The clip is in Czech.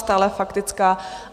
Stále faktická.